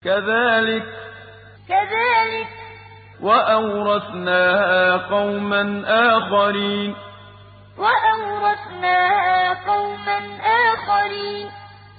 كَذَٰلِكَ ۖ وَأَوْرَثْنَاهَا قَوْمًا آخَرِينَ كَذَٰلِكَ ۖ وَأَوْرَثْنَاهَا قَوْمًا آخَرِينَ